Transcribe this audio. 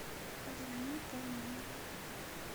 позвони по номеру